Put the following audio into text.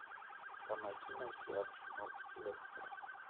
помоги найти арсенал лестер